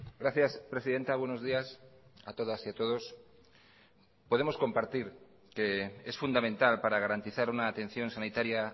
gracias presidenta buenos días a todas y a todos podemos compartir que es fundamental para garantizar una atención sanitaria